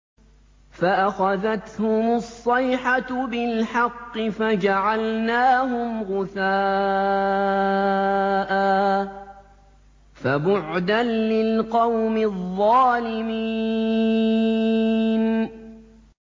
فَأَخَذَتْهُمُ الصَّيْحَةُ بِالْحَقِّ فَجَعَلْنَاهُمْ غُثَاءً ۚ فَبُعْدًا لِّلْقَوْمِ الظَّالِمِينَ